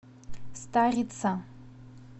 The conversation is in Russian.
старица